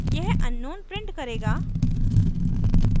यह unknown print करेगा